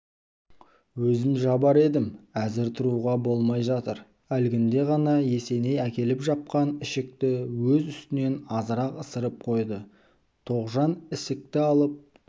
өзім жабар едім әзір тұруға болмай жатыр әлгінде ғана есеней әкеліп жапқан ішікті өз үстінен азырақ ысырып қойды тоғжан ішікті алып